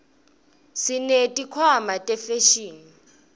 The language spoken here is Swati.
sineti khwama tefashini